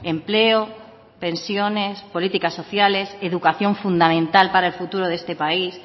empleo pensiones políticas sociales educación fundamental para el futuro de este país